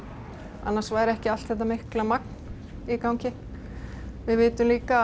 annars væri ekki allt þetta mikla magn í gangi við vitum líka að